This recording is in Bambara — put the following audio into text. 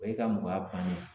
O ye ka mɔgɔya bannen ye